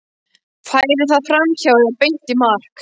Færi það fram hjá eða beint í mark?